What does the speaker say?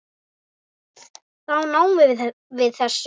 Þá náðum við þessu.